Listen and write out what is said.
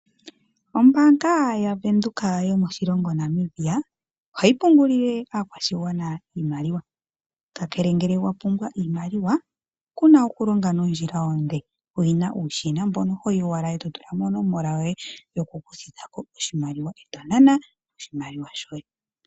Ombaanga yaVenduka yomoshilongo Namibia ohayi pungulile aakwashigwana iimaliwa, kakele ngele wa pumbwa iimaliwa kuna okulonga nondjila onde, oyena uushina mbono hoyi owala e to tula mo onomola yoye yoku kuthitha ko oshimaliwa e to nana oshimaliwa shoye.